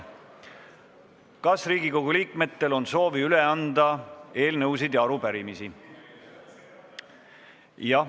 Kas Riigikogu liikmetel on soovi üle anda eelnõusid ja arupärimisi?